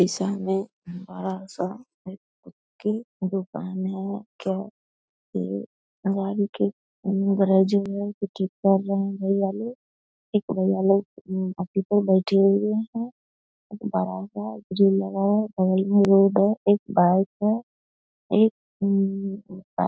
की दुकान है तो एक भैया लोग वही पर बैठे हुए है एक बड़ा सा झूला लगा है बगल में रोड है बाइक है एक उम्म --